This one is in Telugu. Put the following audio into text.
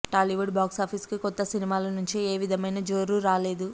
టాలీవుడ్ బాక్సాఫీస్కి కొత్త సినిమాల నుంచి ఏ విధమైన జోరు రాలేదు